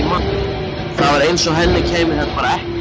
Það var eins og henni kæmi þetta bara ekkert við.